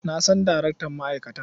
Na san darektan ma'aikatar.